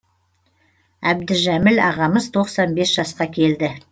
әбдіжәміл ағамыз тоқсан бес жасқа келді